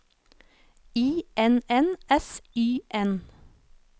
I N N S Y N